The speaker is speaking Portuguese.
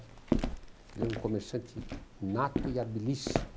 Que ele era um comerciante nato e habilíssimo.